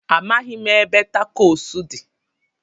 Amaghị m ebe takos dị.